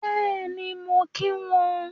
Bẹ́ẹ̀ni, mo ń kí wọn